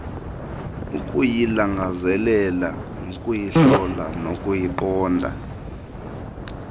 ukuyilangazelela nokuyihlola nokuyiqonda